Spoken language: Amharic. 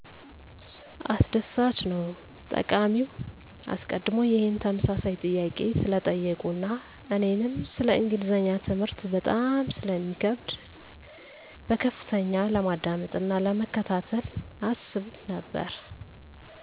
አስደሳችነዉ !ተጠቃሚዉ አሰቀድሞ ይሄን ተመሳሳይ ጥያቄ ስለጠየቁ አና እኔንም ሰለ እንግሊዝኛ ትምህርት በጣም ስለሚከብደ በከፍተኛ ለማዳመጥ አና ለመከታተል አስብ ነበረ።